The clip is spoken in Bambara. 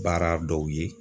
Baara dɔw ye